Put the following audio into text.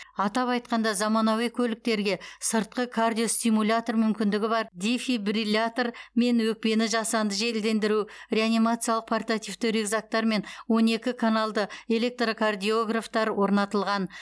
атап айтқанда заманауи көліктерге сыртқы кардиостимулятор мүмкіндігі бар дефибриллятор мен өкпені жасанды желдендіру реанимациялық портативті рюкзактар мен он екі каналды электрокардиографтар орнатылған